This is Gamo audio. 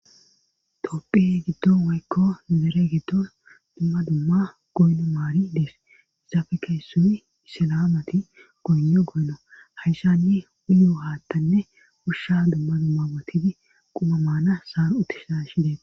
toopphe giddo woykko zere giddo dumma dumma goynno maari dees izafe keyssuyi issilaamati goyno goynno hayshani uyo haattanne usha dumma dumma wotidi quma maana saar utti shaashi deet